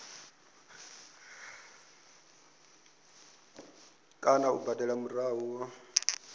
kana u badela murahu ho